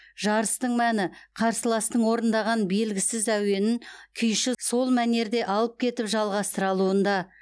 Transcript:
жарыстың мәні қарсыластың орындаған белгісіз әуенін күйші сол мәнерде алып кетіп жалғастыра алуында